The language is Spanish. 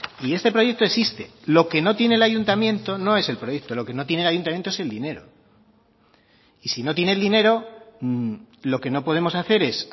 y este proyecto existe lo que no tiene el ayuntamiento no es el proyecto lo que no tiene el ayuntamiento es el dinero y si no tiene el dinero lo que no podemos hacer es